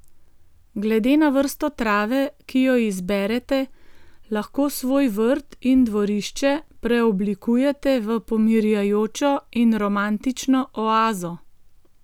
Glede na vrsto trave, ki jo izberete, lahko svoj vrt in dvorišče preoblikujete v pomirjajočo in romantično oazo.